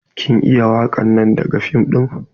Kin iya wakan nan daga fim din?